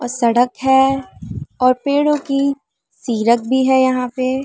और सड़क है और पेड़ों की सीरत भी है यहाँ पर --